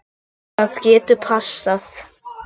Það getur passað.